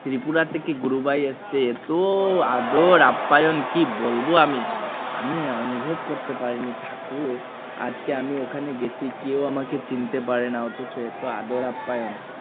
ত্রিপুরা থেকে গুরুভাই এসেছে এতো আদর আপ্পায়ন কি বলবো আমি আমি অনুভব করতে পারিনি আজকে আমি ওখানে গেছি কেউ আমাকে চিনতে পারে না অথচ এতো আদর আপ্পায়ণ